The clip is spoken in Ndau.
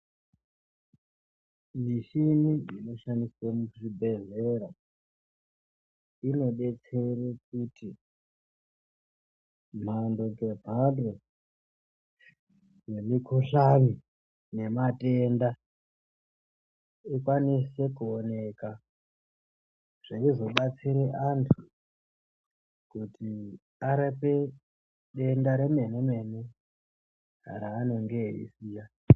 Michini dzinoshandiswe muzvibhedhlera dzinobetsere kuti mhando ngemhando dzemikuhlani nematenda. Ikwanise kuoneka zveizobatsire antu kuti arape denda remene-mene raanonge eiziya.